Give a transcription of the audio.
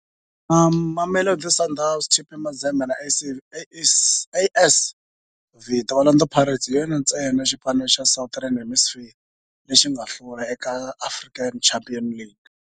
Na Mamelodi Sundowns, TP Mazembe na AS Vita, Orlando Pirates hi yona ntsena xipano xa Southern Hemisphere lexi nga hlula eka African Champions League.